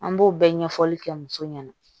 An b'o bɛɛ ɲɛfɔli kɛ muso ɲɛna